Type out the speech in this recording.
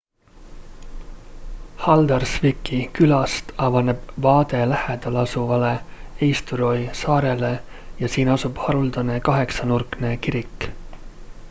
haldarsvíki külast avaneb vaade lähedal asuvale eysturoy saarele ja siin asub haruldane kaheksanurkne kirik